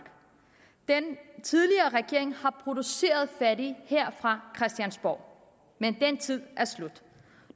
den tidligere regering har produceret fattige her fra christiansborg men den tid er slut